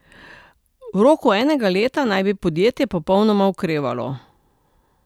V roku enega leta naj bi podjetje popolnoma okrevalo.